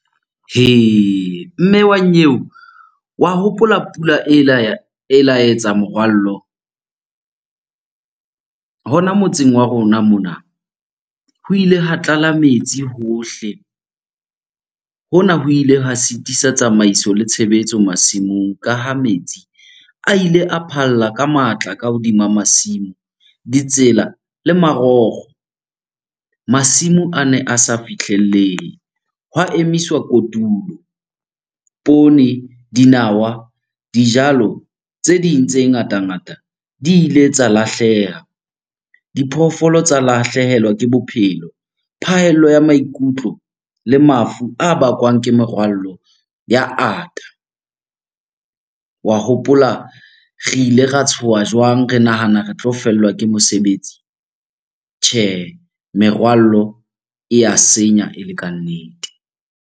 Hee! mme wa nyeo. Wa hopola pula, ela e la etsa morwallo hona motseng wa rona mona. Ho ile hwa tlala metsi hohle, hona ho ile hwa sitisa tsamaiso le tshebetso masimong ka ha metsi a ile a phalla ka matla ka hodima masimo, ditsela le marokgo. Masimo ane a sa fihlellehe, hwa emiswa kotulo. Poone, dinawa, dijalo tse ding tse ngata-ngata di ile tsa lahleha. Diphoofolo tsa lahlehelwa ke bophelo, phahello ya maikutlo le mafu a bakwang ke merwallo ya ata. Wa hopola, re ile ra tshoha jwang re nahana re tlo fellwa ke mosebetsi. Tjhehe, merwallo e ya senya e le kannete!